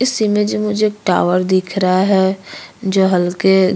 इस इमेज में मुझे एक टावर दिख रहा है जो हल्के --